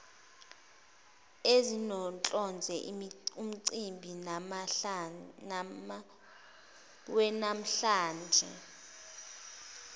ezinohlonze umcimbi wanamhlanje